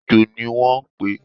ẹ́jọ ní wo n pe